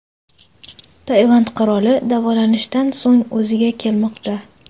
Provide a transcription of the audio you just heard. Tailand qiroli davolanishdan so‘ng o‘ziga kelmoqda .